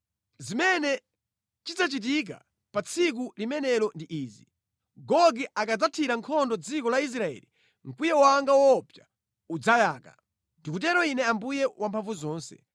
Zimene chidzachitika pa tsiku limenelo ndi izi: Gogi akadzathira nkhondo dziko la Israeli, mkwiyo wanga woopsa udzayaka. Ndikutero Ine Ambuye Wamphamvuzonse.